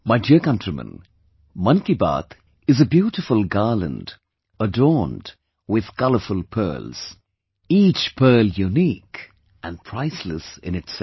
My dear countrymen, 'Mann Ki Baat' is a beautiful garland adorned with colourful pearls... each pearl unique and priceless in itself